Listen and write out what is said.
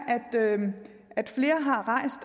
at flere